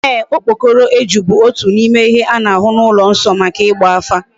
Eeh, okpokoro eju bu otu n'ime ihe a na-ahu n'ulo nso maka igba afa.